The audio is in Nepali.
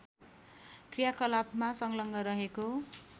क्रियाकलापमा संलग्न रहेको